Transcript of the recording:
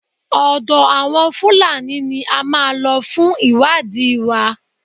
Ọ̀dọ àwọn Fúlàní ní a máa lọ fún ìwádìí wa.